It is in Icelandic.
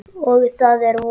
Og það er vor.